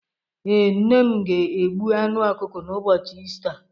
Ee, nne m ga-egbu anụ okuko n’ụbọchị Ista.